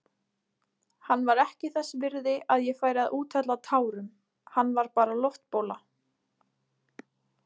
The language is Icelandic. Hann var ekki þess virði að ég færi að úthella tárum, hann var bara loftbóla.